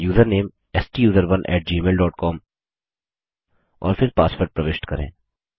अब user name STUSERONE gmailकॉम और फिर पासवर्ड प्रविष्ट करें